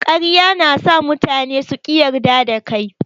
Ƙarya na sa mutane su ƙi yarda da kai.